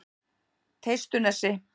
Teistunesi